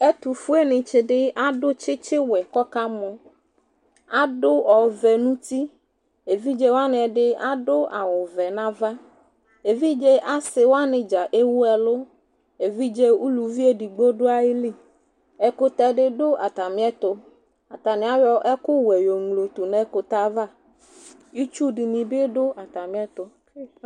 Ɛtʋfuenɩtsɩ dɩ adʋ tsitsiwɛ kɔkamɔ Adʋ ɔvɛ n'uti, evidzewanɩ ɛdɩ adʋ awʋvɛ n'ava, evidze asɩwanɩ dza ewu ɛlʋ, evidze uluvi edigbo dʋ ayili Ɛkʋtɛ dɩ dʋ atamɩtʋ Atanɩ ayɔ ɛkʋwɛ yoŋlodʋ n'ɛkʋtɛava, itsu dɩnɩ bɩ dʋ atamɩɛtʋ